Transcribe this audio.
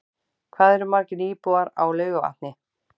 Hvað eru margir íbúar á Laugarvatni?